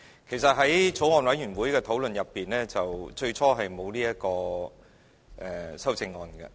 其實在法案委員會的討論中，最初沒有討論這項修正案。